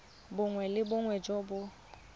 bongwe le bongwe jo bo